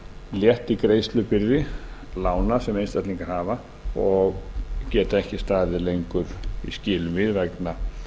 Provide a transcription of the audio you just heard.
létti greiðslubyrði lána sem einstaklingar hafa og geta ekki staðið lengur í skilum við vegna